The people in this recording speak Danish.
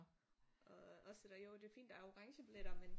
Også det der jo det fint der orangebilletter men